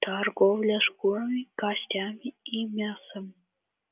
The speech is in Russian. торговля шкурами костями и мясом